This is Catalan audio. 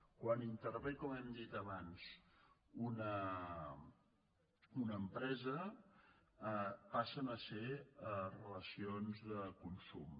quan intervé com hem dit abans una empresa passen a ser relacions de consum